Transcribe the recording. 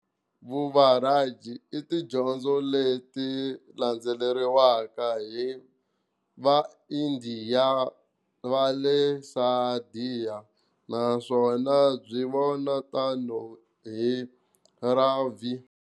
VuVajrayana, i tidyondzo leti landzeleriwaka hi va Indiya vale Sidha, naswona byi vona tano hi rhavi.